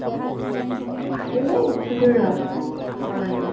এই উঠিলো ৰʼ অকমান আগত